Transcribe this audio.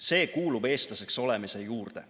See kuulub eestlaseks olemise juurde.